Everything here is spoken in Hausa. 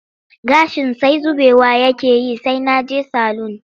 Gashin sai zubewa yake yi sai na je salun